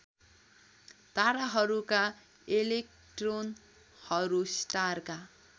ताराहरूका इलेक्ट्रोनहरू स्टारका